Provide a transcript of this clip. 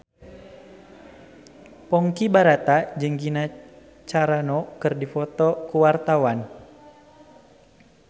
Ponky Brata jeung Gina Carano keur dipoto ku wartawan